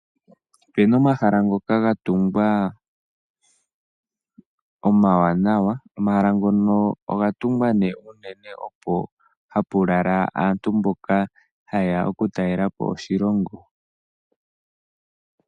Opena omahala ngoka gatungwa omawanawa. Omahala ngono ogatungwa nee uunee opo hapu lala aantu mboka ha yeya okutalelapo oshilongo.